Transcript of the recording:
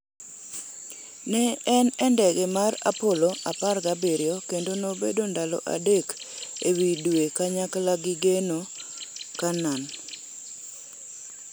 Ne en e ndege mar Apollo 17 kendo nobedo ndalo adek ewi Dwe kanyakla gi Gene Cernan.